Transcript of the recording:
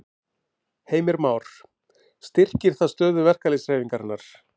Heimir Már: Styrkir það stöðu verkalýðshreyfingarinnar?